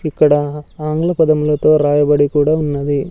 ఇక్కడ ఆంగ్ల పదములతో రాయబడి కూడా ఉన్నది.